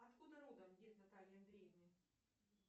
откуда родом дед натальи андреевны